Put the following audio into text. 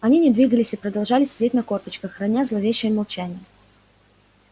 они не двигались и продолжали сидеть на корточках храня зловещее молчание